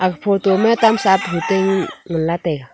aga photo ma tam sah tabul ngan la taiga.